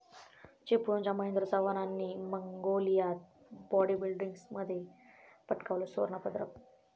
चिपळूणच्या महेंद्र चव्हाणांनी मंगोलियात बाॅडीबिल्डिंगमध्ये पटकावलं सुवर्णपदक